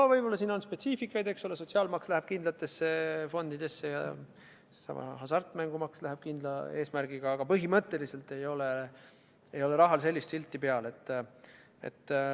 No võib-olla siin on see spetsiifika, eks ole, et sotsiaalmaks läheb kindlatesse fondidesse ja hasartmängumaksu kasutatakse kindlal eesmärgil, aga põhimõtteliselt ei ole rahal silti peal.